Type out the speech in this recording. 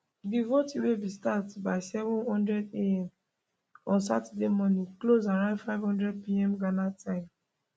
di voting wey bin start by 700 am on saturday morning close around 500pm ghana time